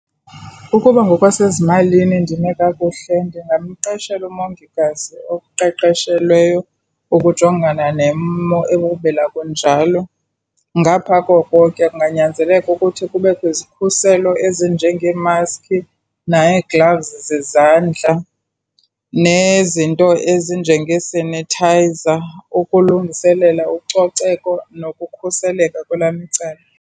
Ukuba ngokwasezimalini ndime kakuhle ndingamqeshela umongikazi oqeqeshelweyo ukujongana nemo ekumila kunjalo. Ngapha koko ke kunganyanzeleka ukuthi kubekho izikhuselo ezinjengeemaski, nee-gloves zezandla nezinto ezinjengee-sanitizer ukulungiselela ucoceko nokukhuseleka kwelam icala.